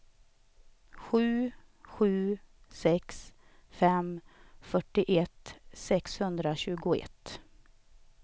sju sju sex fem fyrtioett sexhundratjugoett